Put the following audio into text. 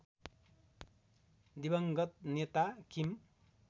दिवंगत नेता किम